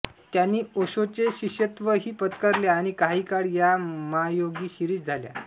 त्यांनी ओशोचे शिष्यत्वही पत्करले आणि काही काळ त्या मा योगी शिरीष झाल्या